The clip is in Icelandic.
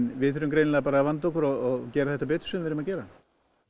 við þurfum greinilega bara að vanda okkur og gera þetta betur sem við erum að gera